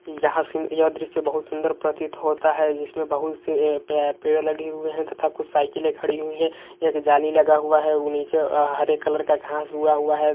यहा से यह दृश्य बहुत सुन्दर प्रतीत होता है जिसमें बहुत से पे पेड़ लगे हुए है तथा कुछ साइकलें खड़ी हुयी है। एक जाली लगा हुआ है। वो नीचे हरे कलर का घास ऊगा हुआ है।